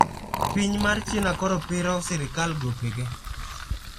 Piny mar china koro piro sirkal gope ge